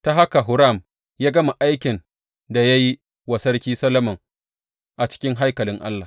Ta haka Huram ya gama aikin da ya yi wa Sarki Solomon a cikin haikalin Allah.